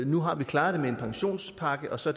nu har vi klaret det med en pensionspakke og så